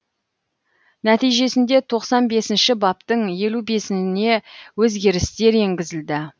нәтижесінде тоқсан бесінші баптың елу бесіне өзгерістер енгізілді